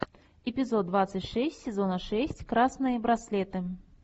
эпизод двадцать шесть сезона шесть красные браслеты